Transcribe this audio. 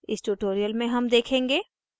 इस tutorial में हम देखेंगे